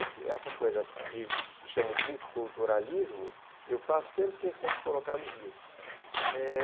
essa essa coisa que chamam de multiculturalismo, eu faço sempre questão de colocar nos livros, é...